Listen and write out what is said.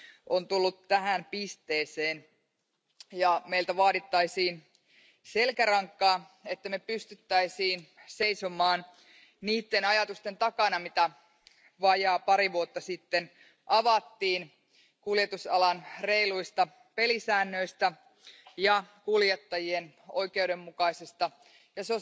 on tullut tähän pisteeseen ja meiltä vaadittaisiin selkärankaa, että me pystyisimme seisomaan niiden ajatusten takana, joita vajaa pari vuotta sitten avattiin kuljetusalan reiluista pelisäännöistä ja kuljettajien oikeudenmukaisesta ja